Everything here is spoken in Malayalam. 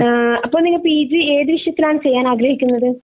എഹ് അപ്പൊ പിന്നെ പി ജി ഏതു വിഷയത്തിൽ ആൺ ചെയ്യാൻ ആഗ്രഹിക്കുന്നത്